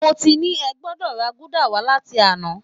Mo ti ní ẹ gbọdọ̀ ra gúdà wá láti àná!